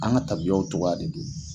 An ka taabiyaw togoya de do.